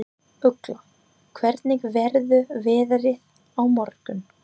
Ugla, hvernig verður veðrið á morgun?